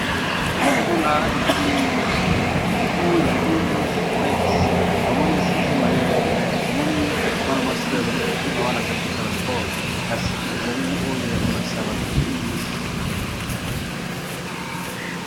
Elili oyo tozali komona ezali buku ya inglish wipes tomoni siye maneye primare tomoni mwana mwa si azali kokima wana azali kosala spore kasi ezali oyo ya kolaksa batu inglish.